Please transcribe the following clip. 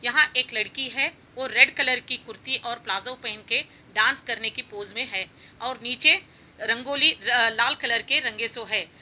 यहाँ एक लड़की है | वो रेड कलर की कुर्ती और प्लाज़ो पहन के डान्स करने के पोज़ मे है और नीचे रंगोली लाल कलर के रंगे सो है।